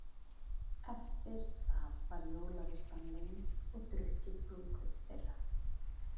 Eftir það var jólaveislan lengd og drukkið brúðkaup þeirra.